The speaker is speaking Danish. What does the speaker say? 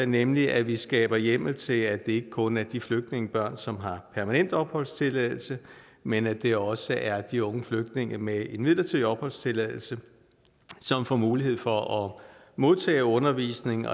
nemlig at vi skaber hjemmel til at det ikke kun er de flygtningebørn som har permanent opholdstilladelse men at det også er de unge flygtninge med en midlertidig opholdstilladelse som får mulighed for at modtage undervisning